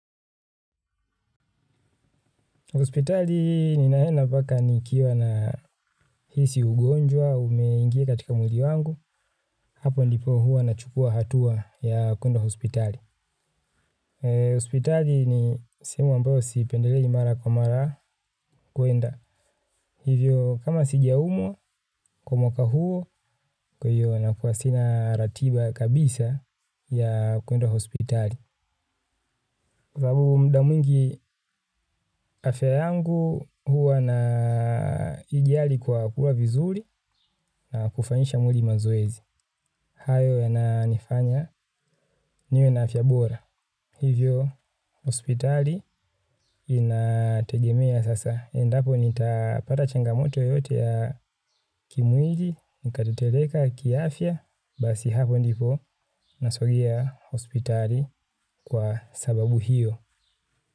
Hospitali ninaenda mpaka nikiwa na hisi ugonjwa, umeingia katika mwili wangu, hapo ndipo huwa nachukua hatua ya kuenda hospitali. Hospitali ni sehemu ambayo siipendelei mara kwa mara kuenda. Hivyo kama sijaumwa kwa mwaka huo kwa hiyo nakuwa sina ratiba kabisa ya kuenda hospitali. Kwa sababu muda mwingi afya yangu huwa naijali kwa kula vizuri na kufanyisha mwili mazoezi. Hayo yananifanya niwe na afya bora. Hivyo, hospitali inategemea sasa. Endapo nitapata changamoto yoyote ya kimwili, nikatetemeka kiafya. Basi hapo ndipo nasogea hospitali kwa sababu hiyo.